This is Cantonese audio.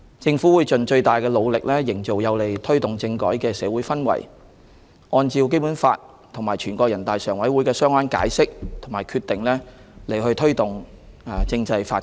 政府會盡最大努力營造有利推動政改的社會氛圍，按照《基本法》及全國人大常委會的相關解釋和決定推動政制發展。